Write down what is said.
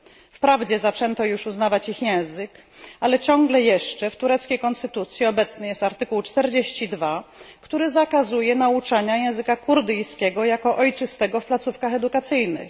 Wprawdzie zaczęto już uznawać ich język, ale ciągle jeszcze w tureckiej konstytucji obecny jest artykuł 42, który zakazuje nauczania języka kurdyjskiego jako ojczystego w placówkach edukacyjnych.